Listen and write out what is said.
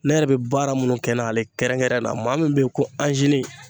Ne yɛrɛ bɛ baara minnu kɛ n'ale kɛrɛnkɛrɛnnen na maa min bɛ yen ko